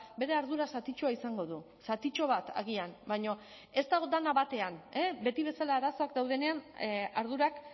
bere ardura zatitxoa izango du zatitxo bat agian baina ez dago dena batean beti bezala arazoak daudenean ardurak